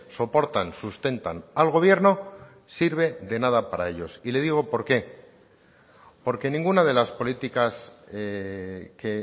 soportan sustentan al gobierno sirve de nada para ellos y le digo por qué porque ninguna de las políticas que